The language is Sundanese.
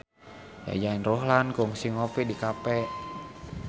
Yayan Ruhlan kungsi ngopi di cafe